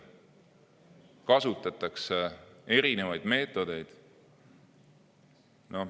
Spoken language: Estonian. Kasutatakse erinevaid meetodeid.